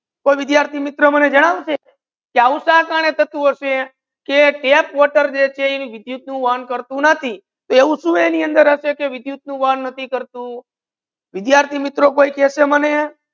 વિદ્યાર્થી મિત્રો મને જાનાઓ છો આઉ શા કરને થાતુ હાસે કે ટેપ વોટર જે છે વિધુત એન કરતુ નથી તેવુ સુ એની અંદર ઐસે કે વિધુત નૂ ઓન નથી કરતુ વિદ્યાર્થી મિત્રો કોઈ કૈસે મને